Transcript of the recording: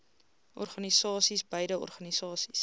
organisasies beide organisasies